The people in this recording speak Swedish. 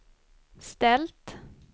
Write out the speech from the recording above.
ställt